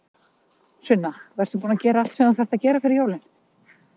Sunna: Og ertu búin að gera allt sem þú þarft að gera fyrir jólin?